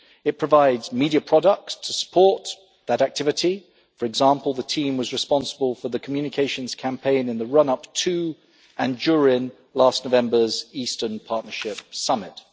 It provides media products to support that activity for example, the team was responsible for the communications campaign in the run up to, and during, last November's Eastern Partnership Summit.